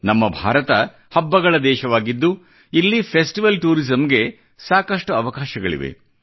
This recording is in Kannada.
ನಮ್ಮ ಭಾರತ ಹಬ್ಬಗಳ ದೇಶವಾಗಿದ್ದು ಇಲ್ಲಿ ಫೆಸ್ಟಿವಲ್ ಟೂರಿಸಮ್ ಗೆ ಸಾಕಷ್ಟು ಅವಕಾಶಗಳಿವೆ